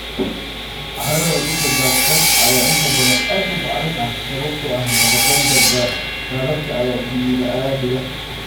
Carrada dhulka daadsan ayaa inta badan aad u bacrin ah sababtoo ah nafaqeynta daadadka ayaa dhiga.